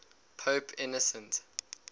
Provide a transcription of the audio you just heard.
pope innocent